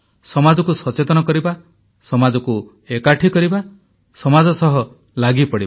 ସମାଜକୁ ସଚେତନ କରିବା ସମାଜକୁ ଏକାଠି କରିବା ସମାଜ ସହ ଲାଗିପଡ଼ିବା